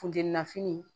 Funteni na fini